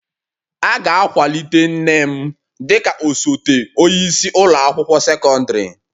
A ga-akwalite nne m dị ka osote onye isi ụlọ akwụkwọ sekọndrị